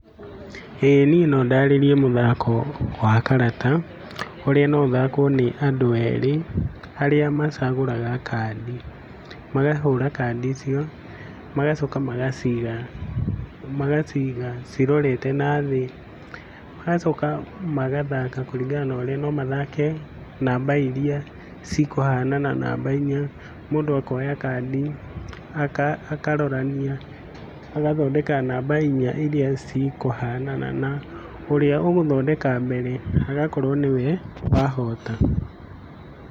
ĩĩ niĩ no ndarĩrie mũthako wa karata ũrĩa no ũthakwo nĩ andũ erĩ arĩa macagũraga kandi, makahũra kandi icio magacoka magaciga magaciga cirorete nathĩ, magacoka magathaka kũringana naũrĩa, no mathake namba iria cikũhanana, namba inya. Mũndũ akoya kandi, akarorania, agathondeka namba inya iria cikũhanana na ũrĩa ũgũthondeka mbere agakorwo nĩwe wahota.